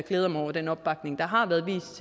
jeg mig over den opbakning der har været vist